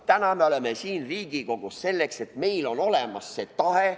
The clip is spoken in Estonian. Täna me oleme siin Riigikogus selleks, et meil on olemas see tahe.